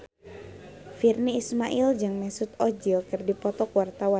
Virnie Ismail jeung Mesut Ozil keur dipoto ku wartawan